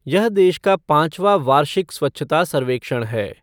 यह देश का पांचवां वार्षिक स्वच्छता सर्वेक्षण है।